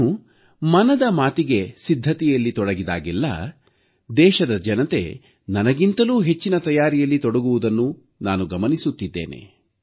ನಾನು ಮನದ ಮಾತಿಗೆ ಸಿದ್ಧತೆಯಲ್ಲಿ ತೊಡಗಿದಾಗಲೆಲ್ಲ ದೇಶದ ಜನತೆ ನನಗಿಂತಲೂ ಹೆಚ್ಚಿನ ತಯಾರಿಯಲ್ಲಿ ತೊಡಗುವುದನ್ನು ನಾನು ಗಮನಿಸುತ್ತಿದ್ದೇನೆ